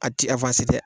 A ti tɛ